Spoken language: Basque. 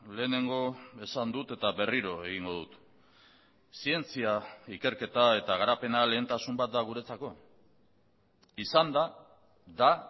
lehenengo esan dut eta berriro egingo dut zientzia ikerketa eta garapena lehentasun bat da guretzako izan da da